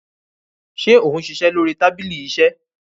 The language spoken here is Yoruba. ṣe òun ṣiṣẹ lórí tábìlì iṣe